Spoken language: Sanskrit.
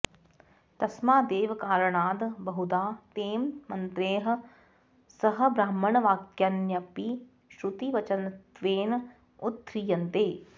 तस्मादेव कारणाद् बहुधा तैः मन्त्रैः सह ब्राह्मणवाक्यान्यपि श्रुतिवचनत्वेन उद्ध्रियन्ते